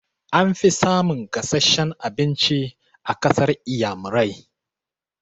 An fi samun gasasshen abinci a ƙasar inƴamurai.